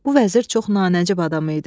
Bu vəzir çox nanəcib adam idi.